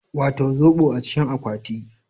Wato zobo a cikin akwati